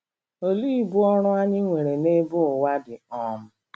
Olee ibu ọrụ anyị nwere n'ebe ụwa dị? um